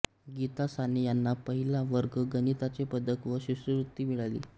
गीता साने यांना पहिला वर्ग गणिताचे पदक व शिष्यवृत्ती मिळाली